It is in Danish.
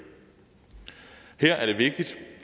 her er det vigtigt